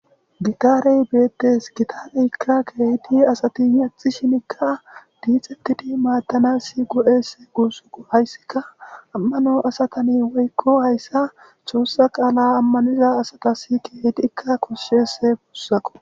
Gitare beetes gitareka keehipe asati yexishinika diixetidi maadanasi go'es gusako haysika amano asatani woyko haysa xoosa qala amaniza asatas keehidika koshes gusako.